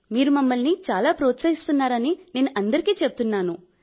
మీరు మమ్మల్ని చాలా ప్రోత్సహిస్తున్నారని నేను అందరికీ చెబుతున్నాను